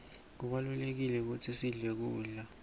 kubalulekile kutsi sidle kudla